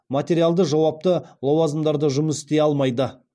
материалды жауапты лауазымдарда жұмыс істей алмайды